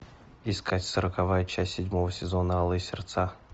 искать сороковая часть седьмого сезона алые сердца